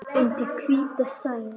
Undir hvíta sæng.